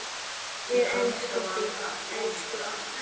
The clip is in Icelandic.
Við elskum þig, elsku amma.